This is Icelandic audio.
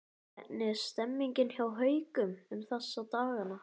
Hvernig er stemningin hjá Haukum um þessa dagana?